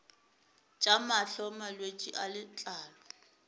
tša mahlo malwetse a letlalo